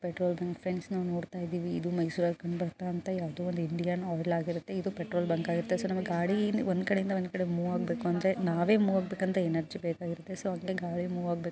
Petrol bunk friends ನಾವ್ ನೋಡ್ತಾ ಇದ್ದೀವಿ ಇದು ಮೈಸೂರಲ್ಲಿ ಕಂಡುಬರ್ತಾಇರುವಂತ ಯಾವ್ದೋ ಒಂದು ಇಂಡಿಯನ್ ಆಯಿಲ್ ಆಗಿರುತ್ತೆ ಇದು ಪೆಟ್ರೋಲ್ ಬಂಕ್ ಆಗಿರುತ್ತೆ. ಸೊ ನಮ್ಗ್ ಗಾಡಿ ಒಂದು ಕಡೆಯಿಂದ ಒಂದು ಕಡೆಗೆ ಮೂವ್ ಆಗ್ಬೇಕು ಅಂದ್ರೆ ನಾವೇ ಮೂವ್ ಆಗಬೇಕು ಅಂತ ಎನರ್ಜಿ ಬೇಕಾಗಿರುತ್ತೆ ಸೊ ಅಂಗೆ ಗಾಡಿ ಮೂವ್ ಆಗ್ಬೇಕು.